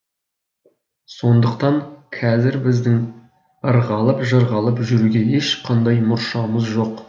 сондықтан қазір біздің ырғалып жырғалып жүруге ешқандай мұршамыз жоқ